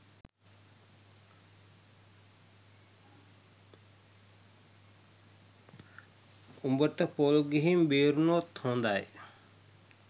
උඹට පොල් ගිහින් බේරුනොත් හොදයි